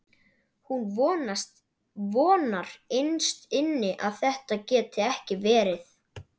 Hún vonar innst inni að þetta geti ekki verið.